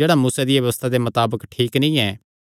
जेह्ड़ा मूसा दिया व्यबस्था मताबक ठीक नीं ऐ